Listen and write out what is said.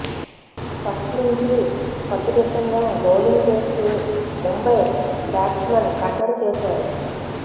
first నుంచి కట్టుదిట్టంగా bowling చేస్తూ ముంబై బ్యాట్స్మన్ కట్టడి చేశారు